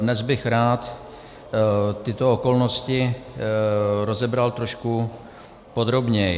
Dnes bych rád tyto okolnosti rozebral trošku podrobněji.